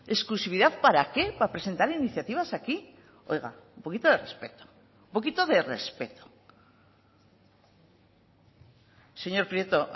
exclusividad para qué para presentar iniciativas aquí oiga un poquito de respeto un poquito de respeto señor prieto